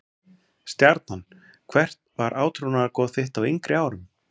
Stjarnan Hvert var átrúnaðargoð þitt á yngri árum?